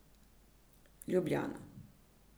Ljubljana.